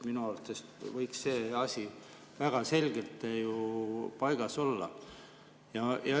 Minu arvates võiks see asi väga selgelt paigas olla.